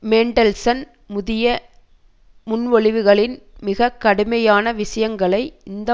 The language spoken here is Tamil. மேன்டல்சன் புதிய முன்மொழிவுகளின் மிக கடுமையான விஷயங்களை இந்த